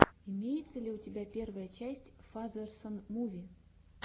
имеется ли у тебя первая часть фазерсон муви